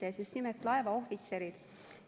Need on just nimelt laevaohvitserid.